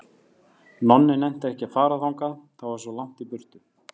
Nonni nennti ekki að fara þangað, það var svo langt í burtu.